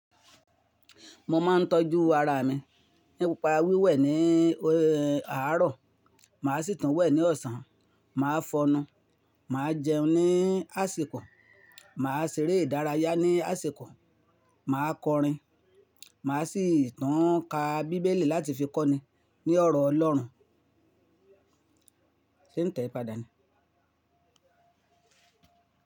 Mo máa ń tọ́jú ara mi nípa wíwẹ̀ ní àárọ̀, màá sì tún wẹ̀ ní ọ̀sán, màá fọ́nu, màá jẹun ní àsìkò, màá ṣeré ìdárayá ní àsìkò, màá kọrin, màá sì tún ka Bíbélì láti fi kọ́ni ní ọ̀rọ̀ Ọlọ́run. Se n tẹ padà ni?